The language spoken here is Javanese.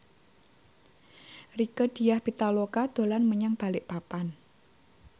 Rieke Diah Pitaloka dolan menyang Balikpapan